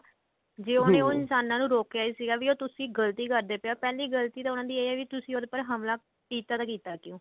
ਜੇ ਉਹਨੇ ਉਹ ਇਨਸਾਨਾ ਨੂੰ ਰੋਕਿਆ ਹੀ ਸੀਗਾ ਵੀ ਤੁਸੀਂ ਗਲਤੀ ਕਰਦੇ ਪਏ ਹੋ ਪਹਿਲੀ ਗਲਤੀ ਤਾਂ ਉਹਨਾ ਦੀ ਇਹ ਹੈ ਵੀ ਤੁਸੀਂ ਉਹਦੇ ਪਰ ਹਮਲਾ ਕੀਤਾ ਤਾਂ ਕੀਤਾ ਕਿਉਂ